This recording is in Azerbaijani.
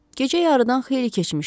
Gecə yarıdan xeyli keçmişdi.